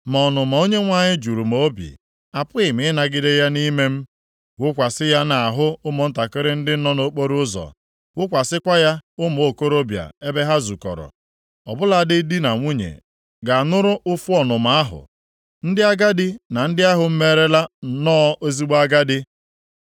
Ma ọnụma Onyenwe anyị juru m obi, apụghị m ịnagide ya nʼime m. “Wụkwasị ya nʼahụ ụmụntakịrị ndị nọ nʼokporoụzọ; wụkwasịkwa ya ụmụ okorobịa ebe ha zukọrọ. Ọ bụladị di na nwunye ga-anụrụ ụfụ ọnụma ahụ, ndị agadi na ndị ahụ merela nnọọ ezigbo agadi.